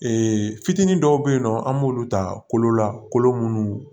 fitinin dɔw bɛ yen nɔ an b'olu ta kolo la kolo minnu